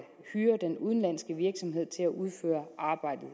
hyrer den udenlandske virksomhed til at udføre arbejdet